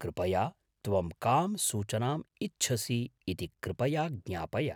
कृपया त्वं कां सूचनाम् इच्छसि इति कृपया ज्ञापय।